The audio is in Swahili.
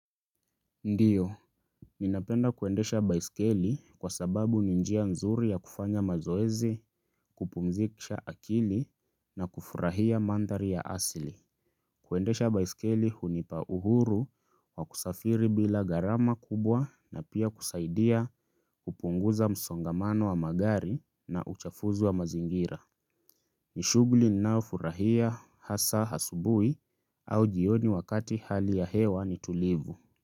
Ndiyo, ninapenda kuendesha baiskeli kwa sababu ni njia nzuri ya kufanya mazoezi, kupumzisha akili na kufurahia mandhari ya asili. Kuendesha baiskeli hunipa uhuru wa kusafiri bila gharama kubwa na pia kusaidia kupunguza msongamano wa magari na uchafuzi wa mazingira. Nishughuli ninaofurahia hasa asubuhi au jioni wakati hali ya hewa ni tulivu.